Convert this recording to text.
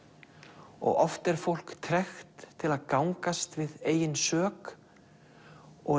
og oft er fólk tregt til að gangast við eigin sök og